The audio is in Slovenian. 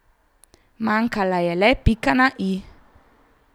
Manjkala je le pika na i.